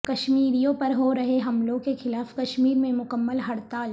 کشمیریوں پر ہورہے حملوں کے خلاف کشمیر میں مکمل ہڑتال